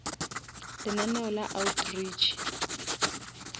lenaneo la outreach